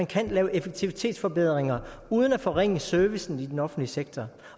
kan lave effektivitetsforbedringer uden at forringe servicen i den offentlige sektor